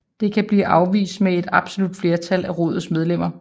Det kan blive afvist med et absolut flertal af Rådets medlemmer